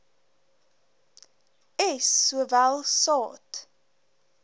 s sowel saad